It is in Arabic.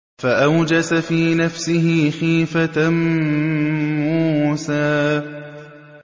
فَأَوْجَسَ فِي نَفْسِهِ خِيفَةً مُّوسَىٰ